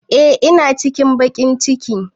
Eh ina cikin bankin.